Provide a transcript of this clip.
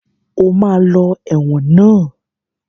O ma lọ ẹ̀wọ̀n náà!